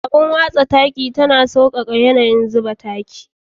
Abar watsa taki tana sauƙaƙa yanayin zuba taki.